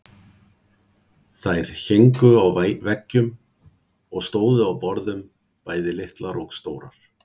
Þær héngu á veggjum og stóðu á borðum, bæði litlar og stórar.